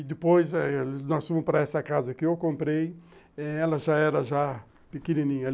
E depois nós fomos para essa casa que eu comprei, ela já era já pequenininha.